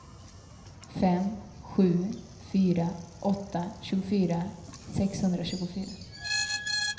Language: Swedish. fem sju fyra åtta tjugofyra sexhundratjugofyra